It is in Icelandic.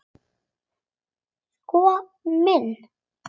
Sko minn!